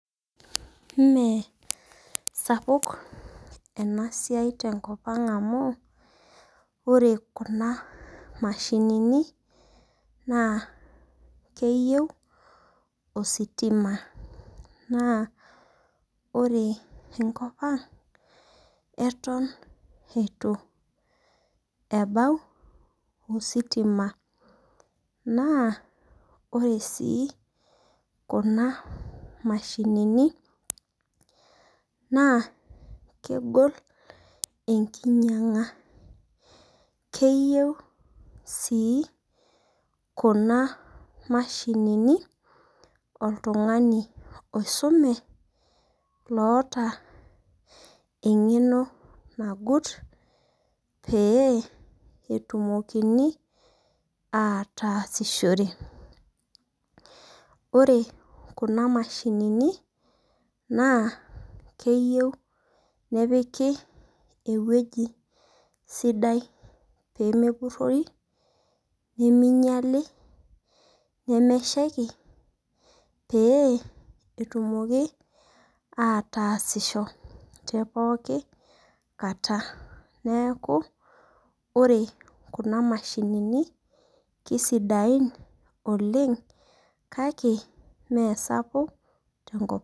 Mee sapuk ena siai te nkop ang' amu ore kuna mashinini naa keyou ositima naa ore enkop ang' eton eitu ebau ositima naa oree sii kuna mashinini naa kegol enkinyang'a keyou sii kuna mashinini oltung'ani oisume oota eng'eno nagut pee etumokini aatasishore. Ore kuna mashinini naa keyou nepiki eweji sidai pemepurori nemeinyali nemeshaiki pee etumoki aatasisho tepookin kaata neeku ore kuna mashinini kisidain oleng' kake mesapuk tenkop.